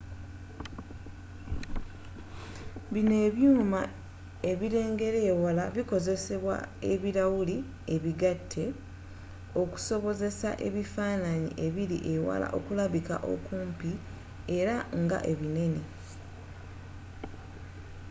bino ebyuuma ebirengerera ewala bikozesa ebirawuli ebigatte okusobozesa ebifaananyi ebiri ewala okulabikira okumpi era nga binene